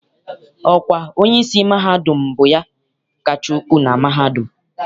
Ọkwa onyeisi mahadum bụ ya kacha ukwu na mahadum.